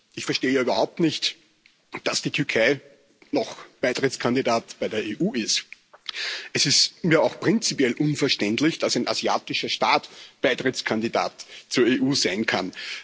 Ich verstehe ja überhaupt nicht, dass die Türkei noch Beitrittskandidat bei der EU ist. Es ist mir auch prinzipiell unverständlich, dass ein asiatischer Staat Beitrittskandidat zur EU sein kann.